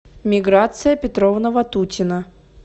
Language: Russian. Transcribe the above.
миграция петровна ватутина